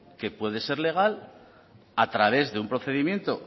que puede ser legal a través de un procedimiento